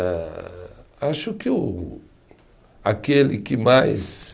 Âh, acho que o, aquele que mais